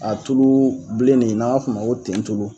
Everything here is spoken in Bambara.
A tulu bilen ne n'an b'a fɔ o ma ko tentulu